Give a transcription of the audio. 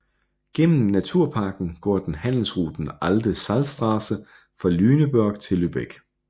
Gennem Naturparken går den handelsruten Alte Salzstraße fra Lüneburg til Lübeck